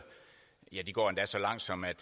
ja de går endda så langt som at